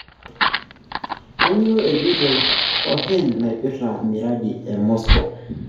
Kanyio ejoito Cohen naipirta mradi e Moscow?